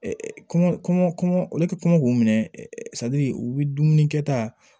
kɔɲɔ kɔmɔ olu ti kɔngɔ k'u minɛ u bɛ dumuni kɛta